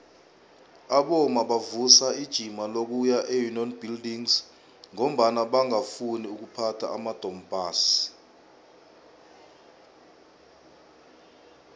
abomma bavusa ijima lokuya eunion buildings ngombana bangafuni ukuphatha amadompass